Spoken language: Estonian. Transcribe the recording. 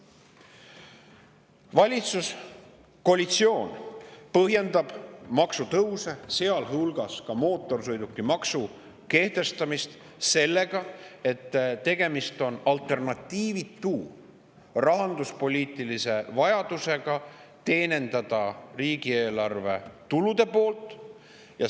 Valitsuskoalitsioon põhjendab maksutõuse ja ka mootorsõidukimaksu kehtestamist sellega, et tegemist on alternatiivitu rahanduspoliitilise vajadusega teenindada riigieelarve tulude poolt.